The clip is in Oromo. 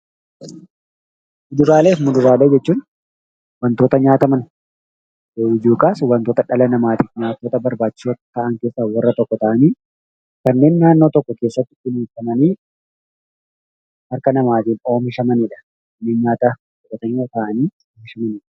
Kuduraalee fi Muduraalee jechuun wantoota nyaataman yookaas immoo wantoota dhala namaatiif barbaachisoo ta'an keessaa warra tokko ta'anii kanneen naannoo tokko keessatti kunuunfamanii harka namootaatiin oomishamanidha.